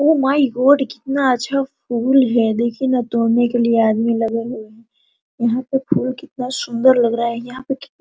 O my God कितना अच्छा फूल है देखिये न तोड़ने के लिए आदमी लगे हुए यहाँ पे फूल कितना सुन्दर लग रहा यहाँ पे की --